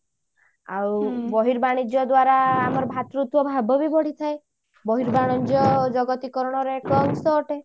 ଆଉ ବର୍ହିବାଣିଜ୍ୟ ଦ୍ଵାରା ଆମର ଭାତୃତ୍ଵ ଭାବ ବି ବଢିଥାଏ ବର୍ହିବାଣିଜ୍ୟ ଜଗତୀକରଣ ର ଏକ ଅଂଶ ଅଟେ